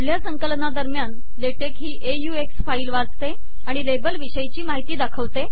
पुढल्या संकलना दरम्यान लेटेक ही ऑक्स फाईल वाचते आणि लेबल विषयची माहिती दाखवते